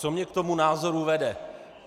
Co mě k tomu názoru vede?